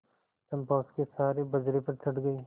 चंपा उसके सहारे बजरे पर चढ़ गई